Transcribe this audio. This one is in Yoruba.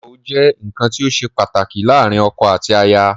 Ìgbéyàwó jẹ́ nǹkan tí ó ṣe pàtàkì láàárín ọkọ àti aya.